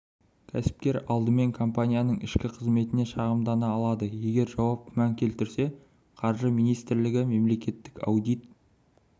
кәсіпкер алдымен компанияның ішкі қызметіне шағымдана алады егер жауап күмән келтірсе қаржы министрлігі мемлекеттік аудит